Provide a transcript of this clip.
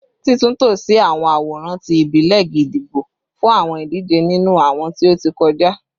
Titunto si awọn aworan ti ibile gídígbò fun awọn idije ninu awọn ti o ti kọja